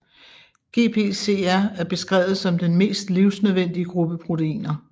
GPCR er beskrevet som den mest livsnødvendige gruppe proteiner